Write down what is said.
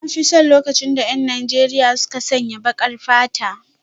Na fi son lokacin da 'yan sandan Najeriya suka sanya baƙar fata.